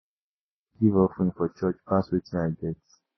I no dey give offering for church pass wetin I get.